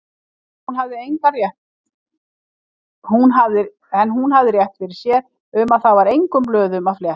En hún hafði rétt fyrir sér, um það var engum blöðum að fletta.